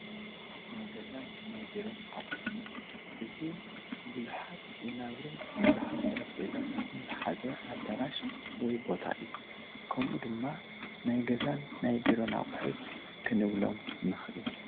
ናይ ገዛን ናይ ቢሮን ኣቕሑት፡- እዚ ቡዙሓት ወናብርን ብዙሓት ጠረጼዛታትን ዝሓዘ ኣዳራሽ ወይ ቦታ እዩ፡፡ ከምኡ ድማ ናይ ገዛን ናይ ቡሮን ኣቕሑት ክንብሎም ንኽእል፡፡